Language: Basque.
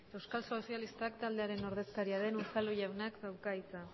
euskal sozialistak taldearen ordezkaria den unzalu jaunak dauka hitza